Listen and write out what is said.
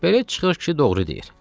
Belə çıxır ki, doğru deyir.